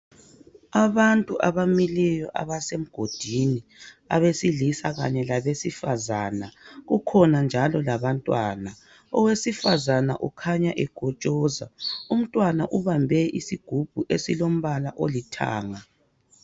Abantu abamileyo abasemgodini. Abesilisa kanye labesifazana. Kukhona njalo labantwana. Owesifazana ukhanya ekotshoza. Umntwana ubambe isigubhu esilombala olithanga.